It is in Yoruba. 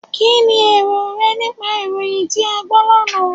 Kínni èrò rẹ nípa ìròyìn tí a gbọ́ lánàá?